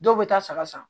Dɔw bɛ taa saga san